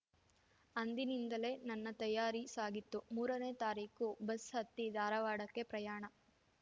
ಅಂದಿನಿಂದಲೇ ನನ್ನ ತಯಾರಿ ಸಾಗಿತ್ತು ಮೂರನೇ ತಾರೀಕು ಬಸ್‌ ಹತ್ತಿ ಧಾರವಾಡಕ್ಕೆ ಪ್ರಯಾಣ